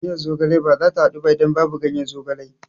Miyar zogale bazata haɗu ba idan babu ganyen zogalen